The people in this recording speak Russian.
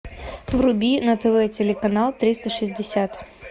вруби на тв телеканал триста шестьдесят